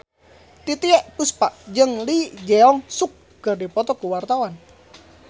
Titiek Puspa jeung Lee Jeong Suk keur dipoto ku wartawan